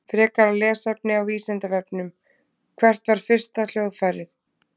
Frekara lesefni á Vísindavefnum: Hvert var fyrsta hljóðfærið?